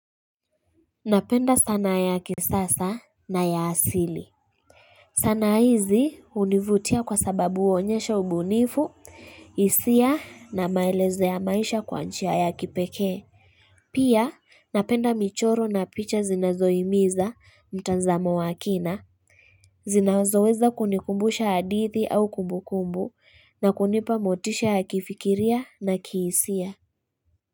Napenda sana ya kisasa na ya asili. Sanaa hizi univutia kwa sababu uonyesha ubunifu, isia na maeleze ya maisha kwanchia ya kipekee. Pia napenda michoro na picha zinazoimiza mtazamo wakina. Zinazoweza kunikumbusha adithi au kumbukumbu na kunipa motisha ya kifikiria na kiisia.